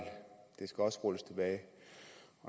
det skal også rulles tilbage